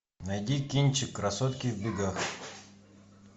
найди кинчик красотки в бегах